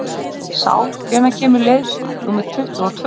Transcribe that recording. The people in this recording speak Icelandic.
Sál, hvenær kemur leið númer tuttugu og tvö?